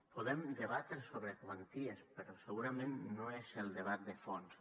podem debatre sobre quanties però segurament no és el debat de fons